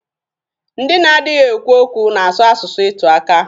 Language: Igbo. Ndị na-adịghi ekwu okwu na-asụ asụsụ ịtụaka.